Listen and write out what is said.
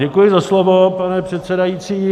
Děkuji za slovo, pane předsedající.